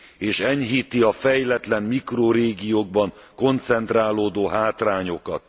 és enyhíti a fejletlen mikrorégiókban koncentrálódó hátrányokat.